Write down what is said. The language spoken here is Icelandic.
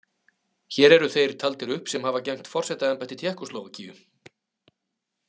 Hér eru þeir taldir upp sem hafa gegnt forsetaembætti Tékkóslóvakíu.